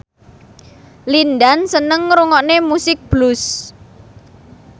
Lin Dan seneng ngrungokne musik blues